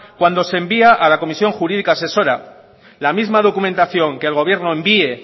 cuando se envía a la comisión jurídica asesora la misma documentación que el gobierno envíe